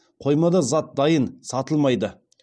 қоймада зат дайын сатылмайды